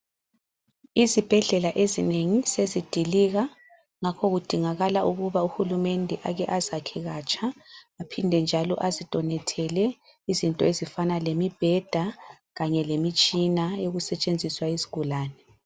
Izibhedlela ezinengi sezidilika ngakho kudingakala ukuba uHulumende ake azakhekatsha aphinde njalo azidonethele izinto ezifana lemibheda kanye lemitshina yokusetshenziswa yizigulane.